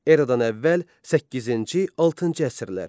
Eradan əvvəl səkkizinci-altıncı əsrlər.